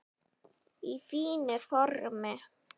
Í fínu formi.